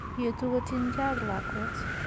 Yetu kotien gee ak lakwet